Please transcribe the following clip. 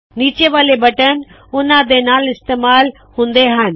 ਨੀਚੇ ਵਾਲੇ ਬਟਨ ਉਹਨਾ ਦੇ ਨਾਲ ਇਸਤੇਮਾਲ ਹੁੰਦੇ ਹੱਨ